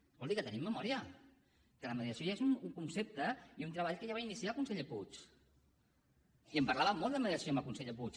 escolti que tenim memòria que la mediació ja és un concepte i un treball que ja va iniciar el conseller puig i en parlàvem molt de media ció amb el conseller puig